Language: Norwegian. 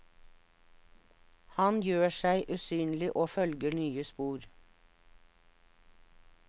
Han gjør seg usynlig og følger nye spor.